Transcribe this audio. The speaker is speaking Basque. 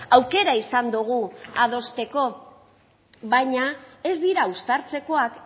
aukera izan dugu adosteko baina ez dira uztartzekoak